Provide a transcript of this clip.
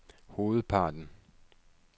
hovedparten